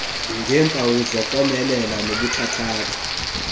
ngeempawu zokomelela nobuthathaka